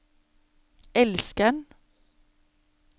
elskeren